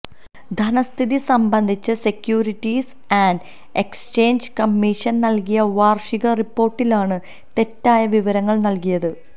ധനസ്ഥിതി സംബന്ധിച്ച് securities and exchange കമ്മിഷന് നൽകിയ വാർഷിക റിപ്പോർട്ടിലാണ് തെറ്റായ വിവരങ്ങൾ നൽകിയത്